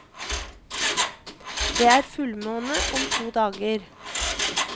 Det er fullmåne om to dager.